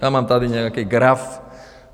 Já mám tady nějaký graf.